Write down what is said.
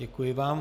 Děkuji vám.